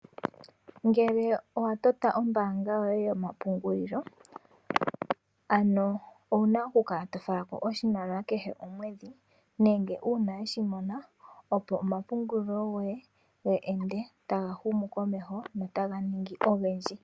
Ngele owatota ombaanga yoye yomapungulilo ano owuna okukala tofalako oshimaliwa kehe omwedhi nenge uuna weshimona opo omapungulilo goye ge edne tagahumu komeho go otaganingi ogendji.